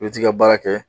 I bɛ t'i ka baara kɛ